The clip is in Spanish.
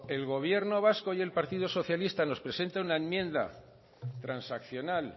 el gobierno vasco y el partido socialista nos presenta una enmienda transaccional